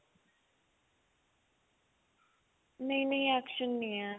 ਨਹੀਂ ਨਹੀਂ action ਨਹੀਂ ਹੈ